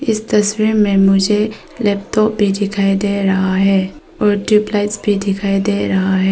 इस तस्वीर में मुझे लैपटॉप भी दिखाई दे रहा है और ट्यूबलाइट्स भी दिखाई दे रहा है।